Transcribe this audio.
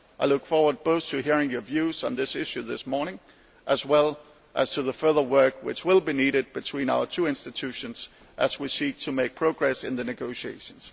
I look forward both to hearing your views on this issue this morning as well as to the further work which will be needed between our two institutions as we seek to make progress in the negotiations.